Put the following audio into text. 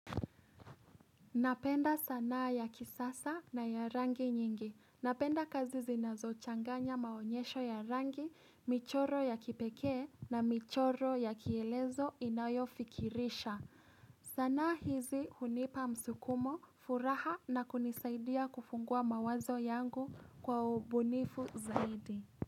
Napenda sanaa ya kisasa na ya rangi nyingi. Napenda kazi zinazo changanya maonyesho ya rangi, michoro ya kipekee na michoro ya kielezo inayo fikirisha. Sanaa hizi hunipa msukumo, furaha na kunisaidia kufungua mawazo yangu kwa ubunifu zaidi.